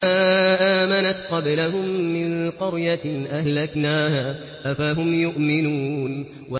مَا آمَنَتْ قَبْلَهُم مِّن قَرْيَةٍ أَهْلَكْنَاهَا ۖ أَفَهُمْ يُؤْمِنُونَ